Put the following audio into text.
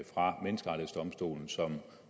fra menneskerettighedsdomstolen som